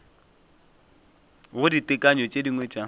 go ditekanyo tše dingwe tša